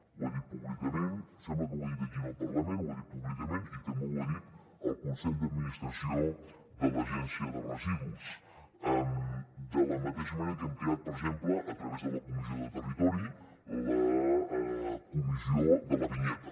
ho he dit públicament em sembla que ho he dit aquí en el parlament i també ho he dit al consell d’administració de l’agència de residus de la mateixa manera que hem creat per exemple a través de la comissió de territori la comissió de la vinyeta